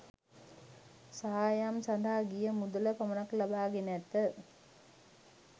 සායම් සඳහා ගිය මුදල පමණක් ලබා ගෙන ඇත.